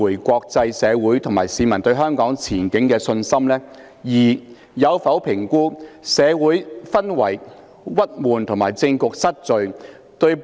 國際社會及市民對香港前景的信心，關係到香港作為國際金融中心的地位。